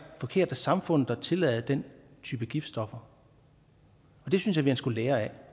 forkert af samfundet at tillade den type giftstoffer det synes jeg man skulle lære af